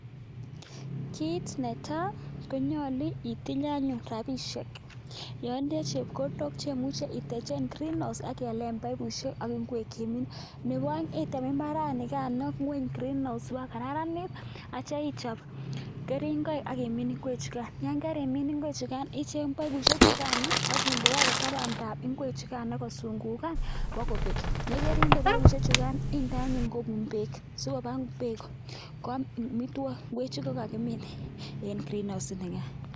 kit netai konyolu itinye anyun rabishek. Yon itindoi chepkondook chemuche itechen green house ak ialen paipusiek ak ingwek chemine. Nebo peng item imbaranikano ngwony green house, bak KO kararanit aityo ichob keringoik ak imin ingwekchukan. Yon kerimin ingwekchukan icheng paipusiek chukan ak indeote tabandab ingwek chuka kosungukan bokoo bek, yekerinde baipusiek chukan indeed anyun kobuun beek sikobaa ingwek koik amitwogik ingwechu kokakimin en green house inikan